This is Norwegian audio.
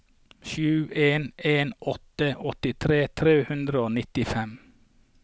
sju en en åtte åttitre tre hundre og nittifem